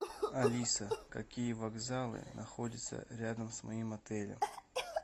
алиса какие вокзалы находятся рядом с моим отелем